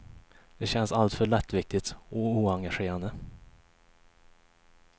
Det känns alltför lättviktigt och oengagerande.